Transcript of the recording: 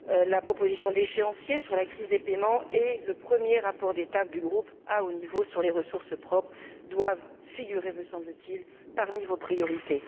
La proposition d'échéancier sur la crise des paiements et le premier rapport d'étape du groupe à haut niveau sur les ressources propres doivent figurer, me semble t il, parmi vos priorités.